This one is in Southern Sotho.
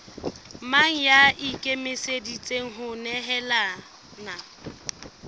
mang ya ikemiseditseng ho nehelana